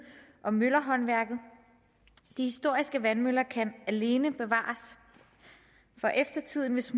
om møllerhåndværket de historiske vandmøller kan alene bevares for eftertiden hvis